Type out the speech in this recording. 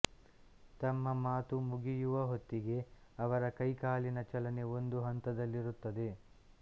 ತಮ್ಮ ಮಾತುಮುಗಿಯುವ ಹೊತ್ತಿಗೆ ಅವರ ಕೈಕಾಲಿನ ಚಲನೆ ಒಂದು ಹಂತದಲ್ಲಿರುತ್ತದೆ